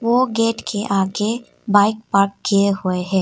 वो गेट के आगे बाइक पार्क किए हुए हैं।